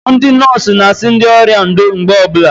Ndị nọọsụ n'asị ndị ọrịa ndo mgbe ọbụla